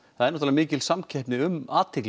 það er mikil samkeppni um athygli